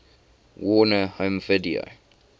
warner home video